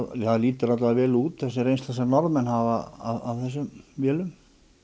lítur allavega vel út þessi reynsla sem Norðmenn hafa af þessum vélum